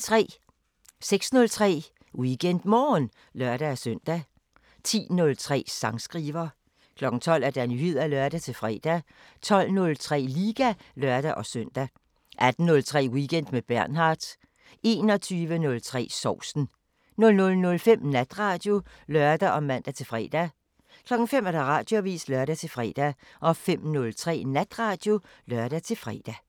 06:03: WeekendMorgen (lør-søn) 10:03: Sangskriver 12:00: Nyheder (lør-fre) 12:03: Liga (lør-søn) 18:03: Weekend med Bernhard 21:03: Sovsen 00:05: Natradio (lør og man-fre) 05:00: Radioavisen (lør-fre) 05:03: Natradio (lør-fre)